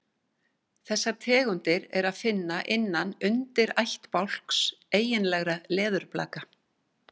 Er eitthvað að? sagði Jói þegar hann sá hvað hún var niðurdregin.